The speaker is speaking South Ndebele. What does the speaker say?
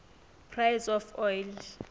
price of oil